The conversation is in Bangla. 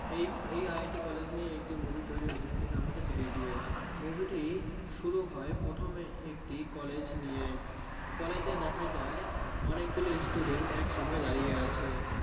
এই IIT কলেজের একটি Movie তৈরী হয়েছে সেটির নাম Three idots movie টি শুরু হয়ে প্রথমে College নিয়ে College এ দেখা যায় অনেক গুলি Student একসাথএ দাঁড়িয়ে আছে